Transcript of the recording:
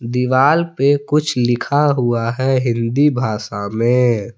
दीवाल पे कुछ लिखा हुआ है हिंदी भाषा में--